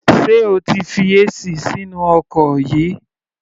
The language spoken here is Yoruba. Sé o ti fi AC sínú ọkọ̀ yìí?